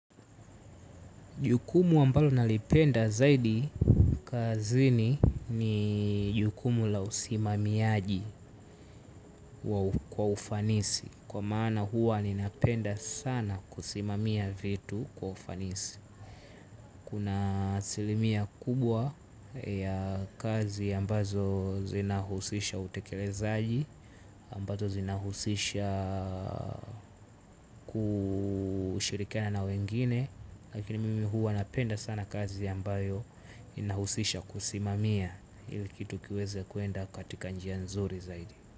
Jukumu ambalo nalipenda zaidi kazini ni jukumu la usimamiaji kwa ufanisi kwa maana huwa ninapenda sana kusimamia vitu kwa ufanisi. Kuna asilimia kubwa ya kazi ambazo zinahusisha utekelezaaji ambazo zinahusisha kushirikana na wengine lakini mimi huwa napenda sana kazi ambayo inahusisha kusimamia ili kitu kiweze kwenda katika njia nzuri zaidi.